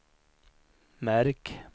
märk